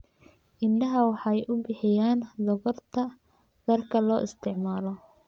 Idaha waxay bixiyaan dhogorta dharka loo isticmaalo.